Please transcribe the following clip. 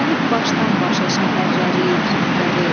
Bəzənib başdan-başa şəhərləri, kəndləri.